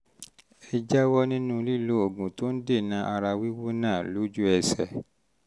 ẹ jáwọ́ um nínú lílo oògùn um tó ń dènà ara wíwú náà lójú ẹsẹ̀